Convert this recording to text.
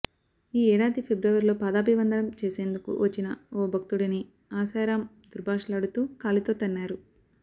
ఈ ఏడాది ఫిబ్రవరిలో పాదాభివందనం చేసేందుకు వచ్చిన ఓ భక్తుడిని ఆశారామ్ దుర్భాషలాడుతూ కాలితో తన్నారు